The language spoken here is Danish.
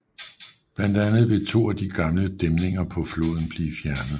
Blandt andet vil to af de gamle dæmninger på floden blive fjernet